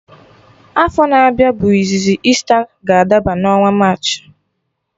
Afọ na-abịa bụ izizi Easter ga adaba n'ọnwa March